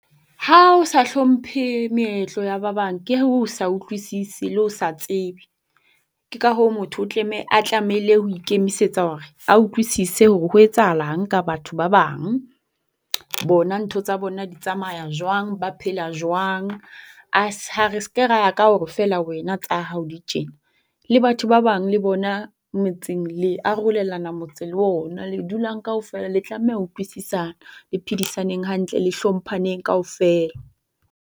Ha o sa hlomphe meetlo ya ba bang, ke ho sa utlwisise le ho sa tsebe. Ke ka hoo motho o a tlamehile ho ikemisetsa hore a utlwisise hore ho etsahalang ka batho ba bang, bona ntho tsa bona di tsamaya jwang, ba phela jwang. Re seke ra ya ka hore feela wena tsa hao di tjena. Le batho ba bang le bona metseng, le arolelana motse le ona le dulang kaofela. Le tlameha ho utlwisisana le phedisaneng hantle le hlomphaneng kaofela.